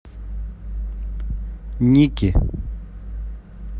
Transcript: ники